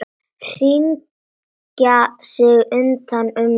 Hringa sig utan um mig.